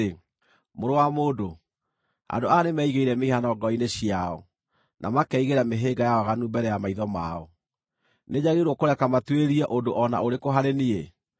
“Mũrũ wa mũndũ, andũ aya nĩmeigĩire mĩhianano ngoro-inĩ ciao, na makeigĩra mĩhĩnga ya waganu mbere ya maitho mao. Nĩnjagĩrĩirwo kũreka matuĩrie ũndũ o na ũrĩkũ harĩ niĩ?